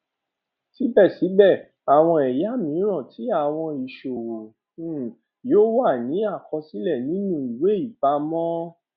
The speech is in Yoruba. sibẹsibẹ awọn ẹya miiran ti awọn iṣowo um yio wa ni akosile ninu iweipamọ